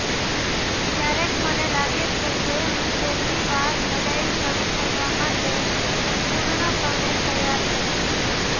ક્યારેક મને લાગે છે કે હું પહેલીવાર લડાઈ શરૂ કરવા માટે સંપૂર્ણપણે તૈયાર છું